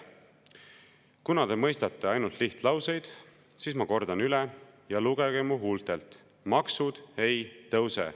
Kuna te mõistate ainult lihtlauseid, siis kordan üle ja lugege mu huultelt: maksud ei tõuse.